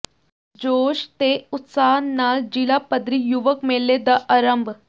ਜੋੋਸ਼ ਤੇ ਉਤਸਾਹ ਨਾਲ ਜ਼ਿਲ੍ਹਾ ਪੱਧਰੀ ਯੁਵਕ ਮੇਲੇ ਦਾ ਆਰੰਭ